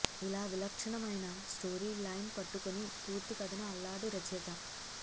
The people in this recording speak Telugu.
ఇలా విలక్షణమైన స్టోరీ లైన్ పట్టుకుని పూర్తి కథను అల్లాడు రచయిత